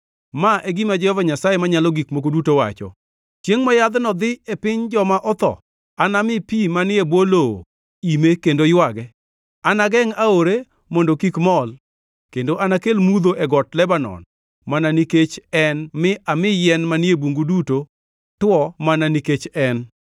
Ma e gima Jehova Nyasaye Manyalo Gik Moko Duto wacho: Chiengʼ ma yadhno dhi e piny joma otho, anami pi manie bwo lowo ime kendo ywage. Anagengʼ aore mondo kik mol kendo anakel mudho e got Lebanon mana nikech en mi ami yien manie bungu duto two mana nikech en.